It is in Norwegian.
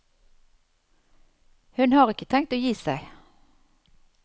Hun har ikke tenkt å gi seg.